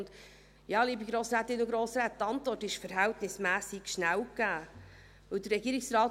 Liebe Grossrätinnen und Grossräte, die Antwort ist verhältnismässig schnell gegeben: